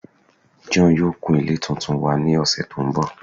John yoo kun ile tuntun wa ni ọsẹ to nbọ